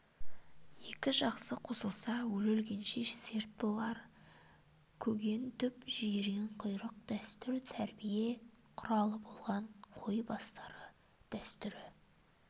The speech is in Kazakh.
екі жақсы қосылса өле өлгенше серт болар көгентүп жиенқұйрық дәстүр тәрбие құралы болған қой басты дәстүрі